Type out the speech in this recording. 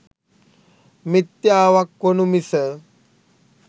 මිත්‍යාවක් වනු මිස